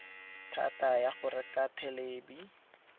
thata ya go reka thelebi